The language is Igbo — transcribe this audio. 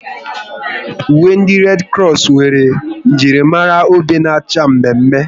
Uwe ndị Redi Kros nwere njirimara obe na-acha mme mme